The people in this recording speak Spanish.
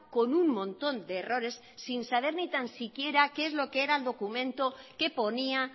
con un montón de errores sin saber ni tan siquiera qué es lo que era el documento qué ponía